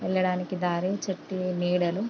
ఎల్లడానికి దారి చుట్టూ నీడలు--